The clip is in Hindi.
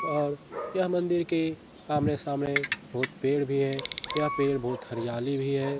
और यह मंदिर के आमने-सामने बहुत पेड़ भी है यह पेड़ बहुत हरियाली भी है।